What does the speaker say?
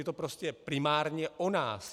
Je to prostě primárně o nás.